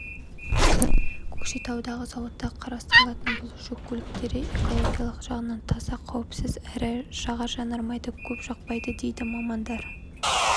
көкшетаудағы зауытта құрастырылатын бұл жүк көліктері экологиялық жағынан таза қауіпсіз әрі жағар-жанармайды көп жақпайды дейді мамандар